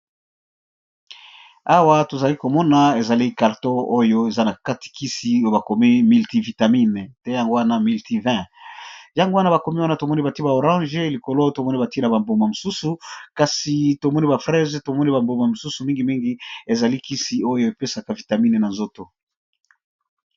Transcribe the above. Awa tozali komona ezali karto oyo eza na katikisi bakomi miltivitamine te yango wana milti-20 yango wana bakomi wana tomoni bati ba orange likolo tomoni bati na bambuma mosusu kasi tomoni ba prese tomoni bambuma mosusu mingimingi ezali kisi oyo epesaka vitamine na nzoto.